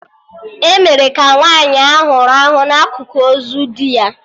E mere ka nwaanyị ahụ rahụ na akụkụ ozu di ya